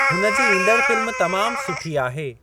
हुन जी ईंदड़ फ़िल्म तमाम सुठी आहे।